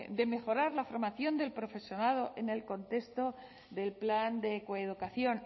de mejorar la formación del profesorado en el contexto del plan de coeducación